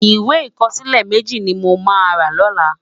Iwé ikòsilè mèji ni mó má rá lòlá